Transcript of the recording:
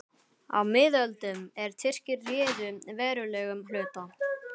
Á miðöldum, er Tyrkir réðu verulegum hluta